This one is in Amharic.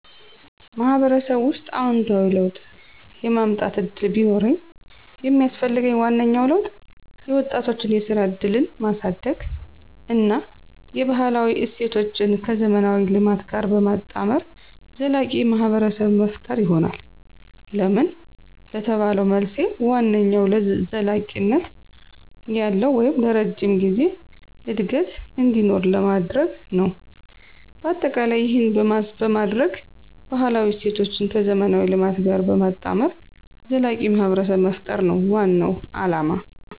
ማህበረሰቡ ውስጥ አዎንታዊ ለውጥ የማምጠት እድል ቢኖርኝ የሚስፈልገኝ ዋነኛው ለውጥ የወጣቶችን የስራ እድልን ማሳድግ እና የባህላዊ እሴቶችን ከዘመናዊ ልማት ጋር በማጣመር ዘላቂ ማህብረሰብ መፈጠር ይሆናል። ለምን ለተባለው መልሴ ዋነኛው ዘለቂነት ያለው(ለረጅም ጊዜ) እድገት እንዲኖር ለማድርግ ነው። በአጠቃላይ ይህን በማደርግ ባህላዊ እሴቶችን ከዘመናዊ ልማት ጋር በማጣመር ዘላቂ ማህብረሰብ መፍጠር ነው ዋናው አለማ።